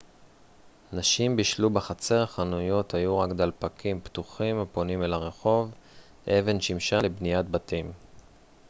נשים בישלו בחצר חנויות היו רק דלפקים פתוחים הפונים אל הרחוב אבן שימשה לבניית בתים